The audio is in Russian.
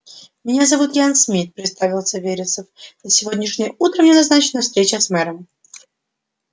меня зовут ян смит представился вересов на сегодняшнее утро мне назначена встреча с мэром